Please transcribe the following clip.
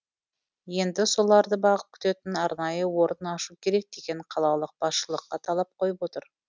енді соларды бағып күтетін арнайы орын ашу керек деген қалалық басшылыққа талап қойып отыр